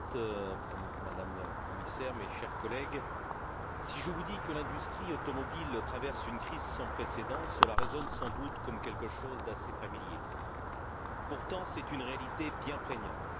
Madame la Présidente, Madame la Commissaire, chers collègues, si je vous dis que l'industrie automobile traverse une crise sans précédent, cela résonne sans doute comme quelque chose d'assez familier. Pourtant, c'est une réalité bien prégnante.